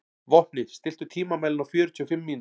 Vopni, stilltu tímamælinn á fjörutíu og fimm mínútur.